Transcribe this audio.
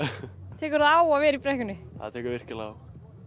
tekur það á að vera í brekkunni það tekur virkilega á